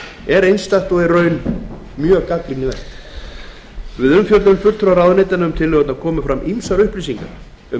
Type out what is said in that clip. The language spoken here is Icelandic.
er einstakt og í reynd mjög gagnrýnivert við umfjöllun fulltrúa ráðuneytanna um tillögurnar komu fram ýmsar upplýsingar um